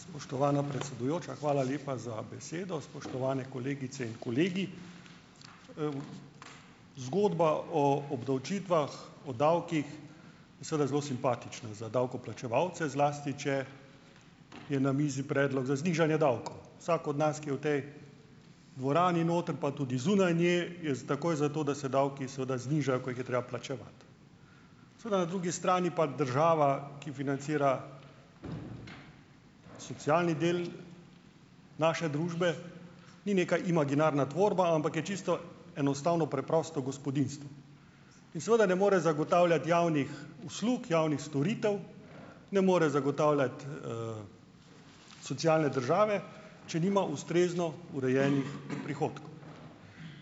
Spoštovana predsedujoča, hvala lepa za besedo. Spoštovane kolegice in kolegi. Zgodba o obdavčitvah, o davkih je seveda zelo simpatična za davkoplačevalce, zlasti če je na mizi predlog za znižanje davkov. Vsak od nas, ki je v tej dvorani noter pa tudi zunaj, ne, je takoj za to, da se davki seveda znižajo, ko jih je treba plačevati. Seveda na drugi strani pa država, ki financira socialni del naše družbe, ni neka imaginarna tvorba, ampak je čisto enostavno preprosto gospodinjstvo in seveda ne more zagotavljati javnih uslug, javnih storitev, ne more zagotavljati socialne države, če nima ustrezno urejenih prihodkov.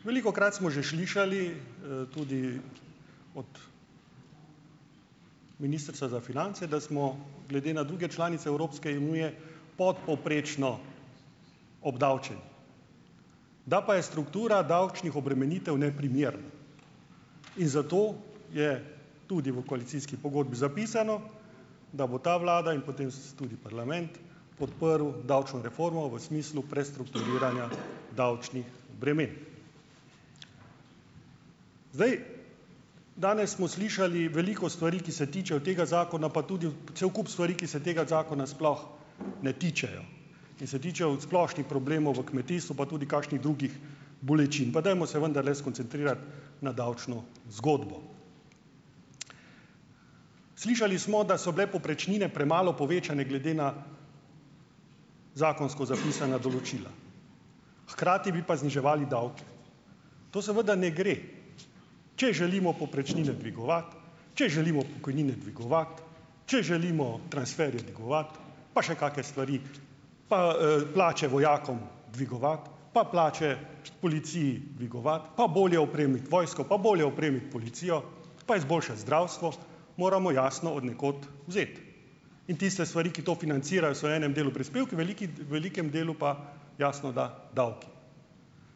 Velikokrat smo že slišali, tudi od ministrstva za finance, da smo glede na druge članice Evropske unije podpovprečno obdavčeni. Da pa je struktura davčnih obremenitev neprimerna in zato je tudi v koalicijski pogodbi zapisano, da bo ta vlada in potem tudi parlament podprl davčno reformo v smislu prestrukturiranja davčnih bremen. Zdaj, danes smo slišali veliko stvari, ki se tičejo tega zakona, pa tudi cel kup stvari, ki se tega zakona sploh ne tičejo in se tičejo od splošnih problemov v kmetijstvu pa tudi kakšnih drugih bolečin. Pa dajmo se vendarle skoncentrirati na davčno zgodbo. Slišali smo, da so bile povprečnine premalo povečane glede na zakonsko zapisana določila, hkrati bi pa zniževali davke. To seveda ne gre. Če želimo povprečnine dvigovati, če želimo pokojnine dvigovati, če želimo transferje dvigovati pa še kakšne stvari, pa, plače vojakom dvigovati, pa plače policiji dvigovati, pa bolje opremiti vojsko, pa bolje opremiti policijo pa izboljšati zdravstvo - moramo, jasno, od nekako vzeti. In tiste stvari, ki to financirajo, so v enem delu prispevki, v veliki, v velikem delu pa, jasno, da - davki.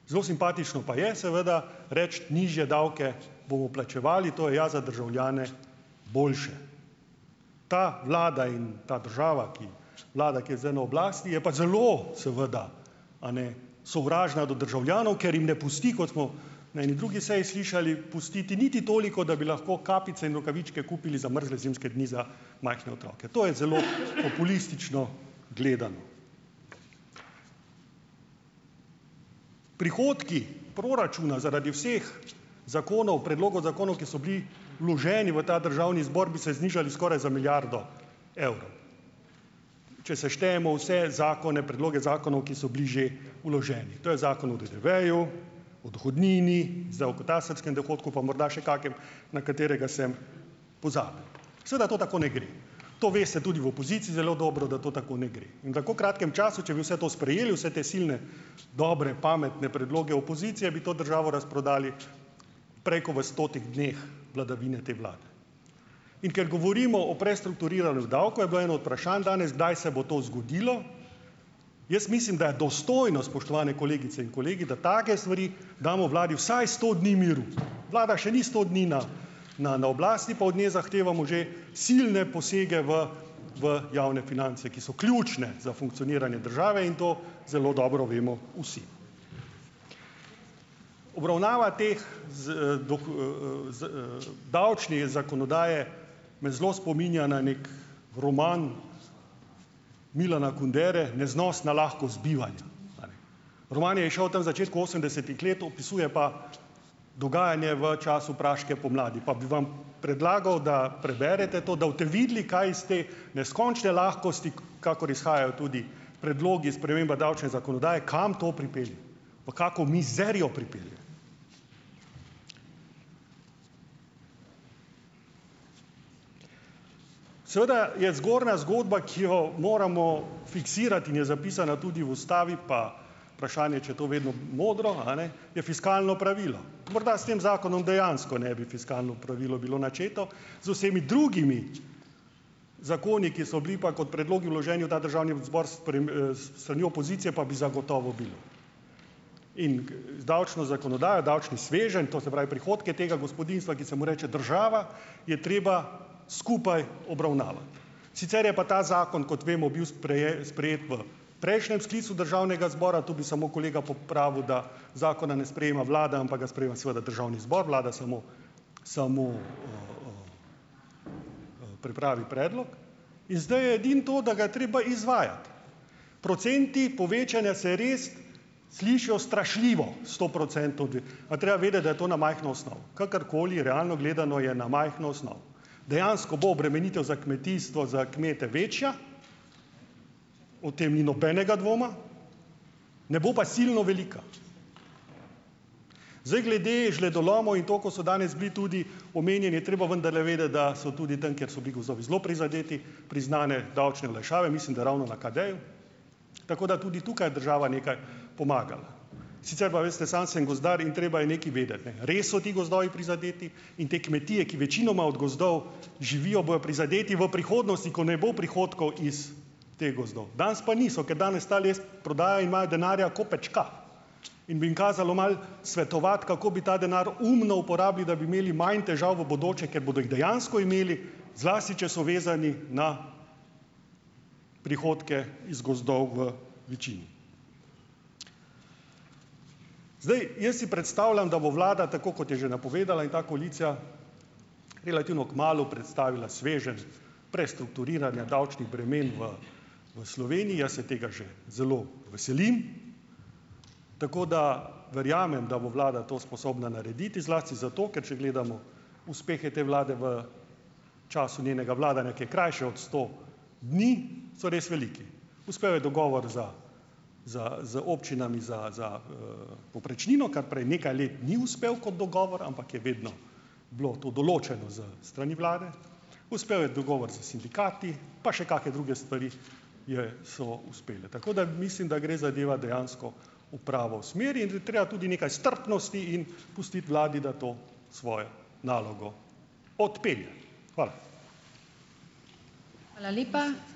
Zelo simpatično pa je seveda reči: "Nižje davke bomo plačevali, to je ja za državljane boljše." Ta vlada in ta država, ki - vlada, ki je zdaj na oblasti, je pa zelo, seveda, a ne, sovražna do državljanov. Ker jim ne pusti, kot smo na eni drugi seji slišali, "pustiti niti toliko, da bi lahko kapice in rokavičke kupili za mrzle zimske dni za majhne otroke". To je zelo populistično gledano. Prihodki proračuna zaradi vseh zakonov, predlogov zakonov, ki so bili vloženi v ta državni zbor, bi se znižali skoraj za milijardo evrov. Če seštejemo vse zakone, predloge zakonov, ki so bili že vloženi. To je zakon o DDV-ju, o dohodnini, zdaj o katastrskem dohodku pa morda še kakem, na katerega sem pozabil. Seveda to tako ne gre. To veste tudi v opoziciji zelo dobro, da to tako ne gre. In v tako kratkem času, če bi vse to sprejeli, vse te silne, dobre, pametne predloge opozicije, bi to državo razprodali prej ko v stotih dneh vladavine te vlade. In ker govorimo o prestrukturiranju davkov, je bilo eno od vprašanj danes, kdaj se bo to zgodilo. Jaz mislim, da je dostojno, spoštovane kolegice in kolegi, da take stvari - damo vladi vsaj sto dni miru. Vlada še ni sto dni na na na oblasti, pa od nje zahtevamo že silne posege v v javne finance, ki so ključne za funkcioniranje države, in to zelo dobro vemo vsi. Obravnava teh - davčne zakonodaje me zelo spominja na neki roman Milana Kundere, Neznosna lahkost bivanja. A ne. Roman je izšel tam, začetku osemdesetih let, opisuje pa dogajanje v času praške pomladi. Pa bi vam predlagal, da preberete to, da boste videli, kaj iz te neskončne lahkosti, kakor izhajajo tudi predlogi sprememb davčne zakonodaje, kam to pripelje. V kako mizerijo pripelje. Seveda je zgornja zgodba, ki jo moramo fiksirati in je zapisana tudi v ustavi - pa vprašanje, če je to vedno modro, a ne, - je fiskalno pravilo. Morda s tem zakonom dejansko ne bi fiskalno pravilo bilo načeto, z vsemi drugimi zakoni, ki so bili pa kot predlogi vloženi v ta državni zbor s s strani opozicije, pa bi zagotovo bilo. In davčno zakonodajo, davčni sveženj - to se pravi, prihodke tega gospodinjstva, ki se mu reče država - je treba skupaj obravnavati. Sicer je pa ta zakon, kot vemo, bil sprejet v prejšnjem sklicu državnega zbora - tu bi samo kolega popravil, da zakona ne sprejema vlada, ampak ga sprejema, seveda, državni zbor, vlada samo samo, pripravi predlog. In zdaj je edino to, da ga je treba izvajati. Procenti povečanja se res slišijo strašljivo. Sto procentov dvig - a treba je vedeti, da je to na majhno osnovo. Kakorkoli, realno gledano, je na majhno osnovo. Dejansko bo obremenitev za kmetijstvo, za kmete večja, o tem ni nobenega dvoma, ne bo pa silno velika. Zdaj, glede žledolomov in to, ko so danes bili tudi omenjeni, je treba vendarle vedeti, da so tudi tam, kjer so bili gozdovi zelo prizadeti, priznane davčne olajšave - mislim, da ravno na KD-ju. Tako da tudi tukaj je država nekaj pomagala. Sicer pa, veste, sam sem gozdar in treba je nekaj vedeti, ne. Res so ti gozdovi prizadeti - in te kmetije, ki večinoma od gozdov živijo - bojo prizadeti v prihodnosti, ko ne bo prihodkov iz teh gozdov. Danes pa niso. Ker danes ta les prodajajo in imajo denarja ko pečka. In bi jim kazalo malo svetovati, kako bi ta denar umno uporabili, da bi imeli manj težav v bodoče, ker bodo jih dejansko imeli - zlasti če so vezani na prihodke iz gozdov v večini. Zdaj, jaz si predstavljam, da bo vlada - tako kot je že napovedala - in ta koalicija relativno kmalu predstavila sveženj prestrukturiranja davčnih bremen v v Sloveniji. Jaz se tega že zelo veselim. Tako da verjamem, da bo vlada to sposobna narediti, zlasti zato, ker če gledamo uspehe te vlade v času njenega vladanja, ki je krajše od sto dni, so res veliki. Uspel je dogovor za, za, z občinami za, za, povprečnino, kar prej nekaj let ni uspel kot dogovor, ampak je vedno bilo to določeno s strani vlade. Uspel je dogovor s sindikati pa še kakšne druge stvari je, so uspele. Tako da mislim, da gre zadeva dejansko v pravo smer. In da je treba tudi nekaj strpnosti in pustiti vladi, da to svojo nalogo odpelje. Hvala.